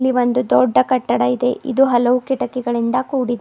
ಇಲ್ಲಿ ಒಂದು ದೊಡ್ಡ ಕಟ್ಟಡ ಇದೆ ಇದು ಹಲವು ಕಿಟಕಿಗಳಿಂದ ಕೂಡಿದೆ.